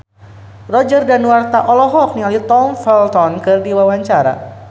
Roger Danuarta olohok ningali Tom Felton keur diwawancara